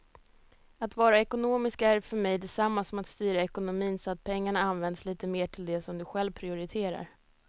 Att vara ekonomisk är för mig detsamma som att styra ekonomin så att pengarna används lite mer till det som du själv prioriterar.